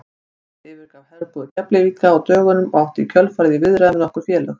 Andri yfirgaf herbúðir Keflvíkinga á dögunum og átti í kjölfarið í viðræðum við nokkur félög.